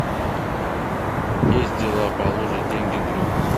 есть дела положить деньги другу